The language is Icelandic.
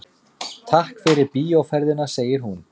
Takk fyrir bíóferðina, segir hún.